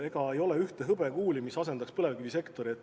Ega ei ole ühte hõbekuuli, mis asendaks põlevkivisektori.